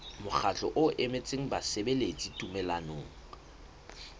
mokgatlo o emetseng basebeletsi tumellanong